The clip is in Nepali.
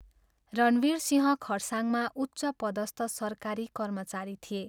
रणवीरसिंह खरसाङमा उच्चपदस्थ सरकारी कर्मचारी थिए।